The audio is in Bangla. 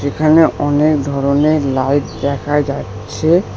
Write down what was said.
এখানে অনেক ধরনের লাইট দেখা যাচ্ছে।